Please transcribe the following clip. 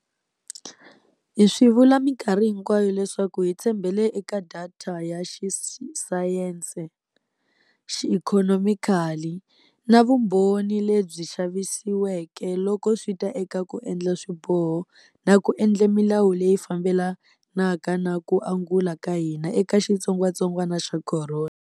Hi swi vula minkarhi hinkwayo leswaku hi tshembele eka data ya xisayense, xiikhonomikali na vumbhoni lebyi lavisisiweke loko swi ta eka ku endla swiboho na ku endla milawu leyi fambelanaka na ku angula ka hina eka xitsongwatsongwana xa corona.